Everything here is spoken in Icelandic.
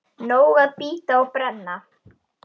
Nóg að bíta og brenna.